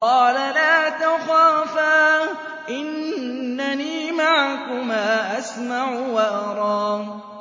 قَالَ لَا تَخَافَا ۖ إِنَّنِي مَعَكُمَا أَسْمَعُ وَأَرَىٰ